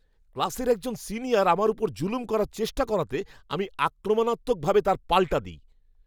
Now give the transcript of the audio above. ক্লাসের একজন সিনিয়র আমার ওপর জুলুম করার চেষ্টা করাতে, আমি আক্রমাণাত্মক ভাবে তার পাল্টা দিই।